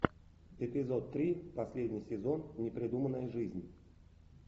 эпизод три последний сезон непридуманная жизнь